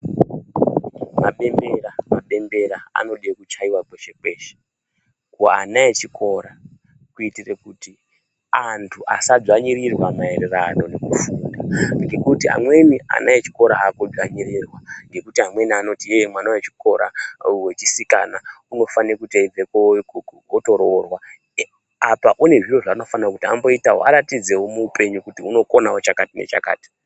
Mabembera mabembera anoda kuchaiwa kwese kuana echikora kuitira. Kuti antu asa dzvanyirirwa maerano nekufunda ngekuti amweni vana echikora ava kuedzvanyirirwa ngekuti amweni anoti mwana wechisikana anofanirwa unofaanirwa kutoroorwa apa anezvinhu zvinofanirwa kuti aitewo kuti aratidzewo kuti ndokona kuita chakati nechakati.